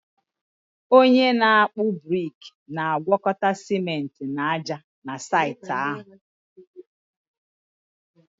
onye na-akpụ brik na-agwakọta ciment na ájá na saịtị ahụ